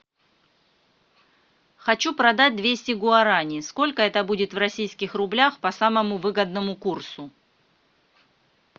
хочу продать двести гуараней сколько это будет в российских рублях по самому выгодному курсу